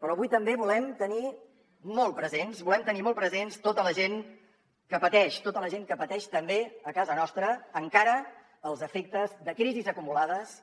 però avui també volem tenir molt presents volem tenir molt presents tota la gent que pateix tota la gent que pateix també a casa nostra encara els efectes de crisis acumulades